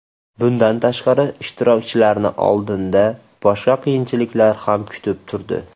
Bundan tashqari ishtirokchilarni oldinda boshqa qiyinchiliklar ham kutib turdi.